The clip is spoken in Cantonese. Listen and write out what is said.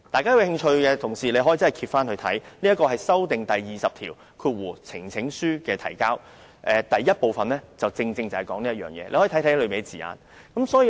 有興趣的同事可以翻閱《議事規則》第20條關於呈請書的提交的修訂條文，議員可以看清楚當中的字眼。